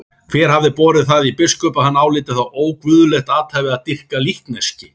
Hver hafði borið það í biskup að hann áliti það óguðlegt athæfi að dýrka líkneski?